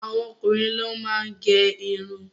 Àwọn okunrin ló máa ń gẹ́ ìrún